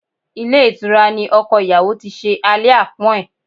Ilé ìtura ní ọkọ ìyàwó tí ṣe alẹ́ àpọ́n ẹ̀.